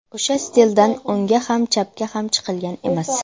O‘sha stildan o‘ngga ham chapga ham chiqilgan emas.